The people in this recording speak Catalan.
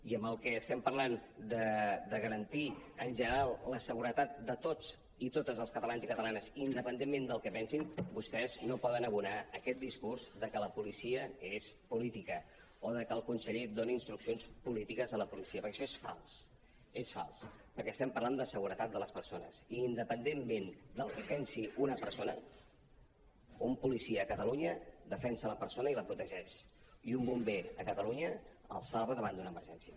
i en el que estem parlant de garantir en general la seguretat de tots i totes els catalans i catala·nes independentment del que pensin vostès no poden abonar aquest discurs de que la policia és política o de que el conseller doni instruccions polítiques a la policia perquè això és fals és fals perquè estem parlant de seguretat de les persones i independentment del que pensi una persona un policia a catalunya defensa la per·sona i la protegeix i un bomber a catalunya el salva davant d’una emergència